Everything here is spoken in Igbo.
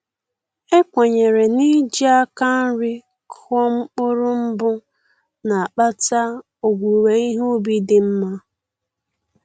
E kwenyere na-iji aka nri kụọ mkpụrụ mbụ na-akpata owuwe ihe ubi dị nma